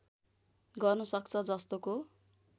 गर्न सक्छ जस्तोको